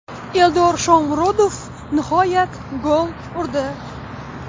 Eldor Shomurodov nihoyat gol urdi.